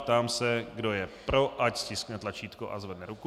Ptám se, kdo je pro, ať stiskne tlačítko a zvedne ruku.